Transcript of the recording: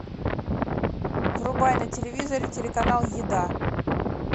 врубай на телевизоре телеканал еда